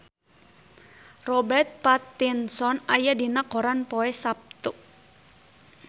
Robert Pattinson aya dina koran poe Saptu